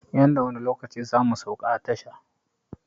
Yanda wani lokaci zamu sauka a tasha